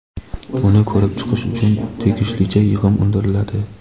uni ko‘rib chiqish uchun tegishlicha yig‘im undiriladi:.